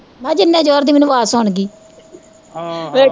ਮੈਂ ਕਿਹਾ ਜਿੰਨੇ ਜੋਏ ਦੀ ਮੈਨੂੰ ਆਵਾਜ਼ ਸੁਣਗੀ ਹਮ